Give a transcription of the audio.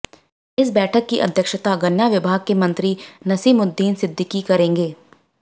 इस बैठक की अध्यक्षता गन्ना विभाग के मंत्री नसीमुद्दीन सिद्दीकी करेंगे